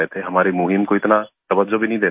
हमारी मुहिम को इतना तवज्जो भी नहीं दे रहे थे